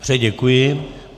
Dobře, děkuji.